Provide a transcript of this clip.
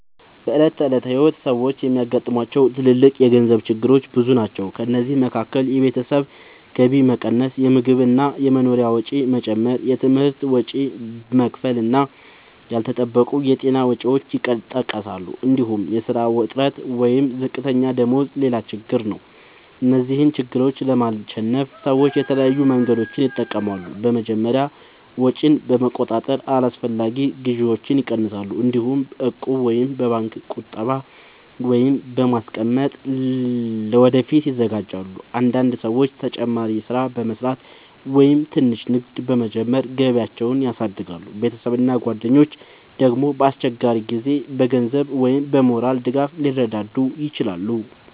በዕለት ተዕለት ሕይወት ሰዎች የሚያጋጥሟቸው ትልልቅ የገንዘብ ችግሮች ብዙ ናቸው። ከእነዚህ መካከል የቤተሰብ ገቢ መቀነስ፣ የምግብ እና የመኖሪያ ወጪ መጨመር፣ የትምህርት ወጪ መክፈል እና ያልተጠበቁ የጤና ወጪዎች ይጠቀሳሉ። እንዲሁም የሥራ እጥረት ወይም ዝቅተኛ ደመወዝ ሌላ ትልቅ ችግር ነው። እነዚህን ችግሮች ለማሸነፍ ሰዎች የተለያዩ መንገዶችን ይጠቀማሉ። በመጀመሪያ ወጪን በመቆጣጠር አላስፈላጊ ግዢዎችን ይቀንሳሉ። እንዲሁም በእቁብ ወይም በባንክ ቁጠባ ገንዘብ በማስቀመጥ ለወደፊት ይዘጋጃሉ። አንዳንድ ሰዎች ተጨማሪ ሥራ በመስራት ወይም ትንሽ ንግድ በመጀመር ገቢያቸውን ያሳድጋሉ። ቤተሰብ እና ጓደኞች ደግሞ በአስቸጋሪ ጊዜ በገንዘብ ወይም በሞራል ድጋፍ ሊረዱ ይችላሉ።